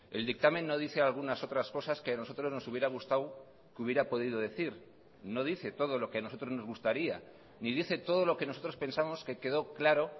el dictamen no dice algunas otras cosas que a nosotros nos hubiera gustado que hubiera podido decir no dice todo lo que a nosotros nos gustaría ni dice todo lo que nosotros pensamos que quedó claro